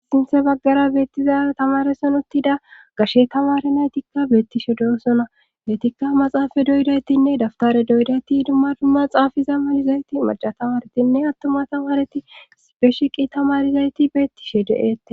Sinthe baggara beettizaa tamareson uttida gashshe tamare naytikka beettishe doosona beytikka maxaafa doydaytinne daftare doydayti idumma dumma xaafa zammanizayti maca tamaretinne attuma tamareti beshiqi tamarizayti beettishe de7ete.